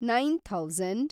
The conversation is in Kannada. nine thousand